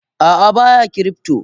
Ah ah baya cryptor.